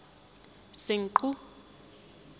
senqu